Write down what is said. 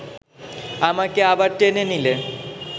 আমাকে আবার টেনে নিলে